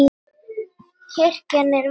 Kirkjan er vakandi afl.